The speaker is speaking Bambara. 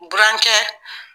Burankɛ